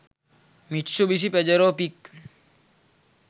mitsubishi pajero pic